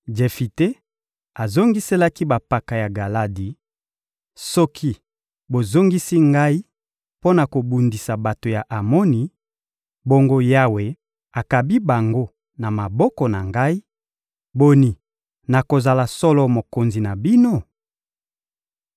Jefite azongiselaki bampaka ya Galadi: — Soki bozongisi ngai mpo na kobundisa bato ya Amoni, bongo Yawe akabi bango na maboko na ngai, boni, nakozala solo mokonzi na bino?